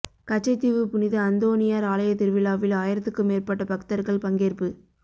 கச்சதீவு புனித அந்தோனியார் ஆலய திருவிழாவில் ஆயிரத்துக்கு மேற்பட்ட பக்தர்கள் பங்கேற்பு